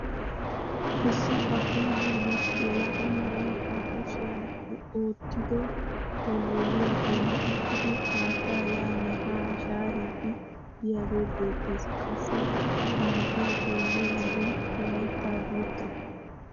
Issi abbaa bolli yelaga na'ay ba kushshiyaan oottido wolwoluwaa bolli uttidi haattaa yaanne haa shaariidi biyaagee beettees. qassi ha na'ay xeelliyoo wode layttaa guutta.